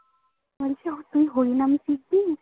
তুই হরিনামে টিপ দিবি